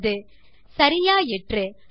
20 சரியாயிற்று